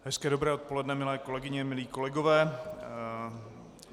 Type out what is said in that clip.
Hezké dobré odpoledne, milé kolegyně, milí kolegové.